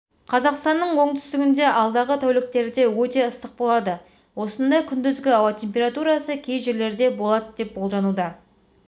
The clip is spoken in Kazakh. қазақстанның оңтүстігінде алдағы тәуліктерде өте ыстық болады осында күндізгі ауа температурасы кей жерлерде болады деп болжануда